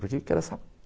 Para que eu quero essa...